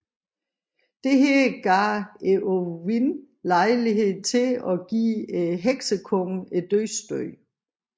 Dette gav Eowyn lejlighed til at give Heksekongen dødsstødet